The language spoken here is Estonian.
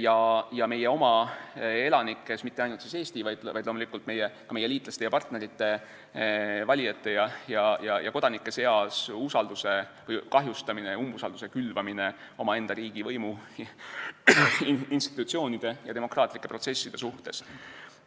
ja meie oma elanike seas – mitte ainult Eesti, vaid loomulikult ka meie liitlaste ja partnerite valijate ja kodanike seas – usalduse kahjustamine ja umbusalduse külvamine omaenda riigivõimu institutsioonide ja demokraatlike protsesside vastu.